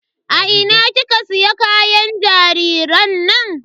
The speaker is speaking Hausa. A ina kika siya kayan jariran nan?